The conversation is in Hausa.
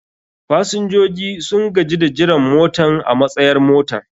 fasinjoji sun gaji da jiran motan a matsayar motar.